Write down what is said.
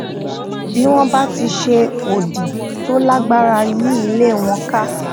bí wón bá ti ṣe odi tó lágbára yí ilé wọn ká